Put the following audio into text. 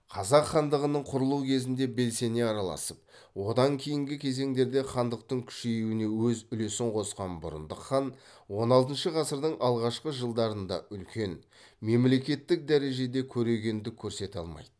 қазақ хандығының құрылуы кезінде белсене араласып одан кейінгі кезеңдерде хандықтың күшеюіне өз үлесін қосқан бұрындық хан он алтыншы ғасырдың алғашқы жылдарында үлкен мемлекеттік дәрежеде көрегендік көрсете алмайды